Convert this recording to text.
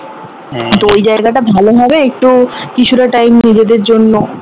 তো ওই জায়গাটা ভালো হবে একটু কিছু্টা time নিজেদের জন্য